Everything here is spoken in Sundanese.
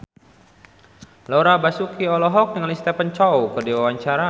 Laura Basuki olohok ningali Stephen Chow keur diwawancara